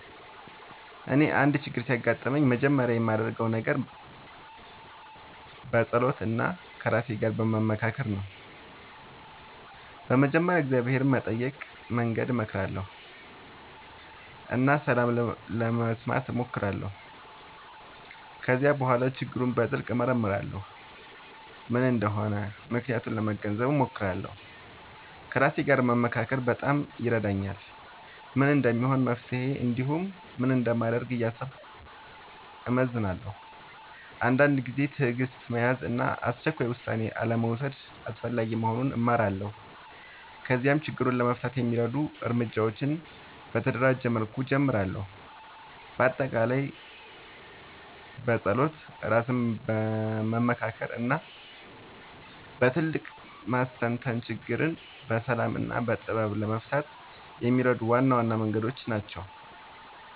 እኔ አንድ ችግር ሲያጋጥምኝ መጀመሪያ የማደርገው ነገር መጸሎት እና ከራሴ ጋር መመካከር ነው። በመጀመሪያ እግዚአብሔርን በመጠየቅ መንገድ እመራለሁ እና ሰላም ለመስማት እሞክራለሁ። ከዚያ በኋላ ችግሩን በጥልቅ እመርመራለሁ፤ ምን እንደሆነ ምክንያቱን ለመገንዘብ እሞክራለሁ። ከራሴ ጋር መመካከር በጣም ይረዳኛል፤ ምን እንደሚሆን መፍትሄ እንዲሁም ምን እንደማደርግ እያሰብኩ እመዝናለሁ። አንዳንድ ጊዜ ትዕግሥት መያዝ እና አስቸኳይ ውሳኔ አልመውሰድ አስፈላጊ መሆኑን እማራለሁ። ከዚያም ችግሩን ለመፍታት የሚረዱ እርምጃዎችን በተደራጀ መልኩ እጀምራለሁ። በአጠቃላይ መጸሎት፣ ራስን መመካከር እና በጥልቅ ማስተንተን ችግርን በሰላም እና በጥበብ ለመፍታት የሚረዱ ዋና ዋና መንገዶች ናቸው።